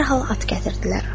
Dərhal at gətirdilər.